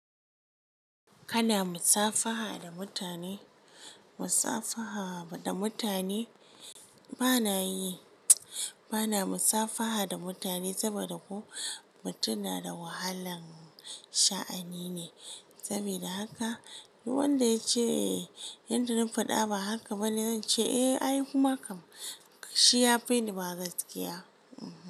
Kana musafaha da mutane? Musafaha da mutane bana yi. Bana musafaha da mutane saboda ko mutum na da wahalan sha'ani ne. Saboda haka wanda ya ce yadda zan faɗa, ba haka bane. Zan ce, "Eh, ayi kuma kam." Shi ya fi ni ma gaskiya.